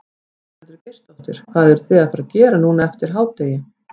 Ingveldur Geirsdóttir: Hvað eruð þið að fara gera núna eftir hádegi?